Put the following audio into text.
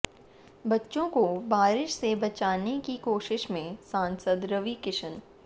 बच्चों को बारिश से बचाने की कोशिश में सांसद रवि किशन